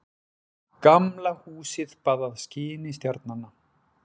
Gamla húsið baðað skini stjarnanna.